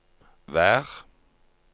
vær